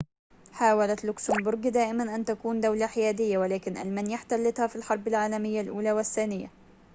حاولت لوكسمبورغ دائمًا أن تكون دولة حيادية ولكن ألمانيا احتلتها في الحرب العالمية الأولى والثانية